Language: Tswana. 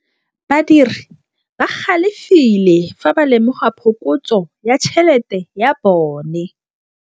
Badiri ba galefile fa ba lemoga phokotsô ya tšhelête ya bone.